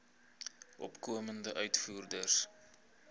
opkomende uitvoerders